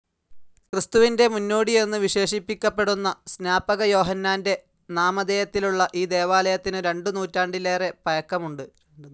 ക്രിസ്തുവിന്റെ മുന്നോടിയെന്നു വിശേഷിപ്പിക്കപ്പെടുന്ന സ്നാപകയോഹന്നാൻ്റെ നാമധേയത്തിലുള്ള ഈ ദേവാലയത്തിന്‌ രണ്ടു നൂറ്റാണ്ടേലേറെ പഴക്കുമുണ്ട്‌.